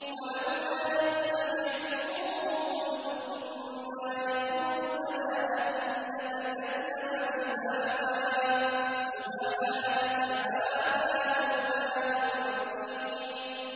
وَلَوْلَا إِذْ سَمِعْتُمُوهُ قُلْتُم مَّا يَكُونُ لَنَا أَن نَّتَكَلَّمَ بِهَٰذَا سُبْحَانَكَ هَٰذَا بُهْتَانٌ عَظِيمٌ